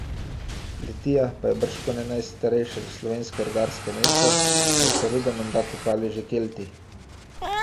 Litija pa je bržkone najstarejše slovensko rudarsko mesto, saj so rudo menda kopali že Kelti.